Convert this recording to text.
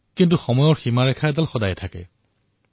কিন্তু সময়ৰো সীমা এটা আছে